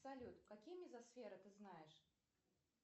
салют какие мезосферы ты знаешь